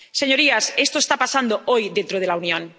Señorías, esto está pasando hoy dentro de la Unión.